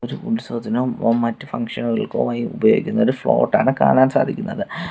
ഒരു ഉത്സവത്തിനോ മ് മറ്റു ഫംഗ്ഷനുകൾക്കോ ആയി ഉപയോഗിക്കുന്ന ഒരു ആണ് കാണാൻ സാധിക്കുന്നത്.